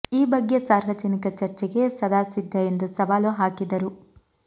ಈ ಬಗ್ಗೆ ಸಾರ್ವಜನಿಕ ಚರ್ಚೆಗೆ ಸದಾ ಸಿದ್ಧ ಎಂದು ಸವಾಲು ಹಾಕಿದರು